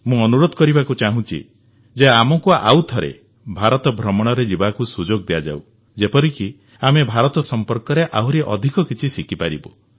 ମୁଁ ଅନୁରୋଧ କରିବାକୁ ଚାହୁଁଛି ଯେ ଆମକୁ ଆଉଥରେ ଭାରତ ଭ୍ରମଣରେ ଯିବାକୁ ସୁଯୋଗ ଦିଆଯାଉ ଯେପରିକି ଆମେ ଭାରତ ସମ୍ପର୍କରେ ଆହୁରି ଅଧିକ କିଛି ଶିଖିପାରିବୁ